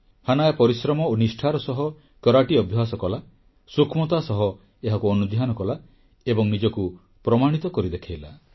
Hanaya ପରିଶ୍ରମ ଓ ନିଷ୍ଠାର ସହ କରାଟି ଅଭ୍ୟାସ କଲା ସୂକ୍ଷ୍ମତା ସହ ଏହାକୁ ଅନୁଧ୍ୟାନ କଲା ଏବଂ ନିଜକୁ ପ୍ରମାଣିତ କରି ଦେଖାଇଲା